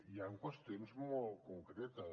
hi ha qüestions molt concretes